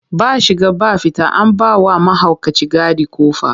Ba shiga ba fita, an ba wa mahaukaci gadi ƙofa.